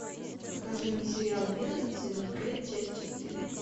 покажи мне сериал мерлин сезон пять часть четыре